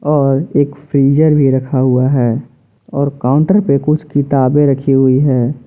और एक फ्रीजर भी रखा हुआ है और काउंटर पे कुछ किताबें रखी हुई है।